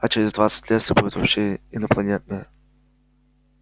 а через двадцать лет все будет вообще инопланетное